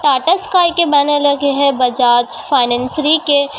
Tata sky के banner लगे हैं बजाज फाइनेंसरी के--